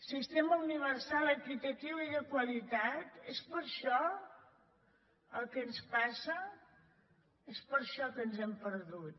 sistema universal equitatiu i de qualitat és per això el que ens passa és per això que ens hem perdut